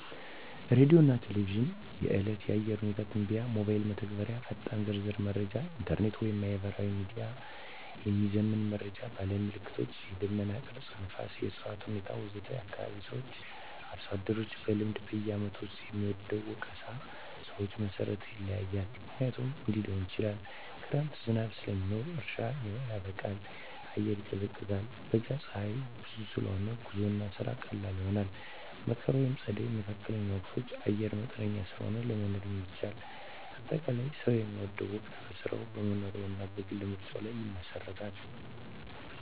ሬዲዮና ቴሌቪዥን – የዕለት የአየር ሁኔታ ትንበያ ሞባይል መተግበሪያዎች ፈጣንና ዝርዝር መረጃ ኢንተርኔት/ማህበራዊ ሚዲያ – የሚዘመን መረጃ ባህላዊ ምልክቶች – የደመና ቅርጽ፣ ነፋስ፣ የእፅዋት ሁኔታ ወዘተ ከአካባቢ ሰዎች/አርሶ አደሮች – በልምድ በዓመቱ ውስጥ የሚወደው ወቅት ሰዎች መሠረት ይለያያል፣ ምክንያቶቹም እንዲህ ሊሆኑ ይችላሉ፦ ክረምት – ዝናብ ስለሚኖር እርሻ ይበቃል፣ አየር ይቀዝቃዛል። በጋ – ፀሐይ ብዙ ስለሆነ ጉዞና ስራ ቀላል ይሆናል። መከር/ጸደይ (መካከለኛ ወቅቶች) – አየር መጠነኛ ስለሆነ ለመኖር ይመቻቻል። አጠቃላይ፣ ሰው የሚወደው ወቅት በሥራው፣ በመኖሪያው እና በግል ምርጫው ላይ ይመሰረታል።